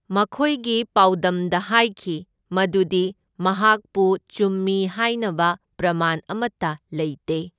ꯃꯈꯣꯢꯒꯤ ꯄꯥꯎꯗꯝꯗ ꯍꯥꯢꯈꯤ ꯃꯗꯨꯗꯤ ꯃꯍꯥꯛꯄꯨ ꯆꯨꯝꯃꯤ ꯍꯥꯢꯅꯕ ꯄ꯭ꯔꯃꯥꯟ ꯑꯃꯇ ꯂꯩꯇꯦ꯫